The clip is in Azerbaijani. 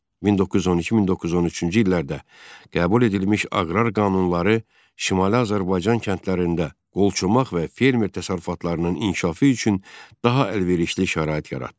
1912-1913-cü illərdə qəbul edilmiş aqrar qanunları Şimali Azərbaycan kəndlərində qolçomaq və fermer təsərrüfatlarının inkişafı üçün daha əlverişli şərait yaratdı.